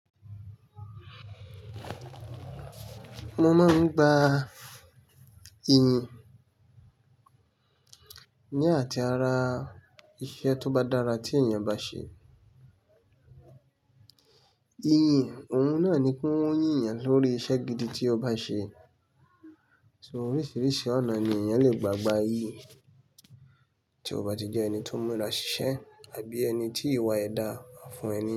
Mo máa ń gba iyìn ní àti ara iṣẹ́ tó bá dára tí èèyàn bá ṣe. Iyìn ohun náà ni pé won ń yìn ẹ́ lórí iṣẹ́ gidi tí o bá ṣe. So oríṣiríṣi ọ̀nà ni èèyàn lè gbà gbá iyìn, tí o bá ti jẹ́ ẹni tó mú ra sí iṣẹ́ àbí ẹni tí ìwà è dà máa fún ẹni.